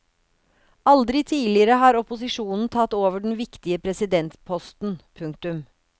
Aldri tidligere har opposisjonen tatt over den viktige presidentposten. punktum